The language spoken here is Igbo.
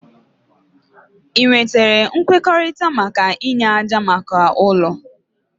Ị nwetara nkwekọrịta maka inye ájá maka ụlọ?